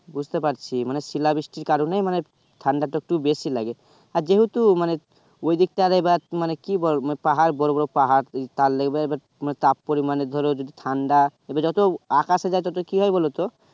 বুঝতে পাচ্ছি মানে শীলা বৃষ্টি কারণে মানে ঠাণ্ডা টা একটু বেশি লাগে আর যেহেতু মানে ঐ দিক টা এবার মানে বল মানে পাহাড় বড় বড় পাহাড় এই তালেবে এবার তাপ পরিমানে ধরো ঠাণ্ডা এবার যত আকাশে যাইতে কি ভাবে বললো তো